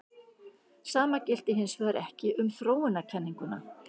Sama gilti hins vegar ekki um þróunarkenninguna.